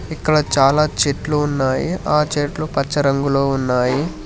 ఇక్కడ చాలా చెట్లు ఉన్నాయి ఆ చెట్లు పచ్చ రంగులో ఉన్నాయి.